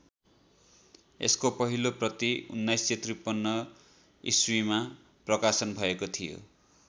यसको पहिलो प्रति १९५३ ईस्वीमा प्रकाशन भएको थियो।